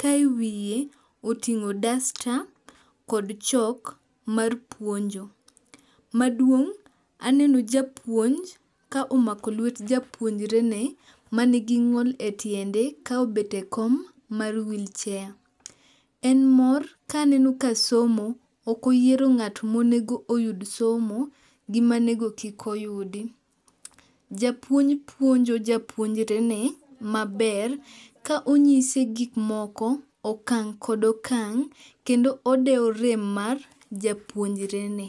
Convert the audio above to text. ka e wiye oting'o dasta kod chok mar puonjo. Maduong' aneno japuonj ka omako lwet japuonjrene manigi ng'ol e tiende ka obete kom mar wheelchair. En mor kaneno ka somo ok oyiero ng'at monego oyud somo gi ma onego kik oyudi. Japuonj puonjo japuonjrene maber ka onyise gik moko, okang' kod okang' kendo odewo rem mar japuonjre ni.